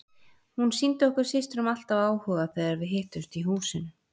Hún sýndi okkur systrum alltaf áhuga þegar við hittumst í húsinu.